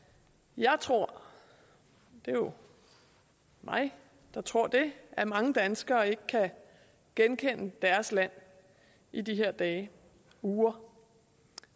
jeg tror det er jo mig der tror det at mange danskere ikke kan genkende deres land i de her dage uger